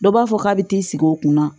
Dɔ b'a fɔ k'a bɛ t'i sigi o kunna